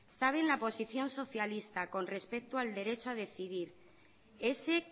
saben la posición socialista con respecto al derecho a decidir ese